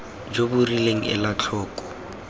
jo bo rileng ela tlhoko